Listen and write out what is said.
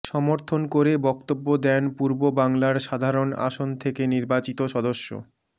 সমর্থন করে বক্তব্য দেন পূর্ব বাংলার সাধারণ আসন থেকে নির্বাচিত সদস্য